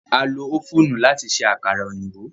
À lo ófùnù láti ṣe àkàrà òyìnbó.